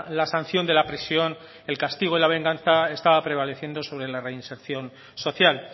la sanción de la presión el castigo y la venganza estaba prevaleciendo sobre la reinserción social